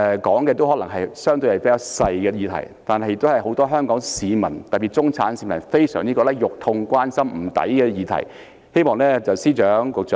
我說的可能相對是較小的議題，但都是很多香港市民，特別是中產市民關心、痛心、覺得不值得的議題。